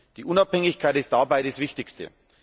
Die Unabhängigkeit ist dabei das Wichtigste.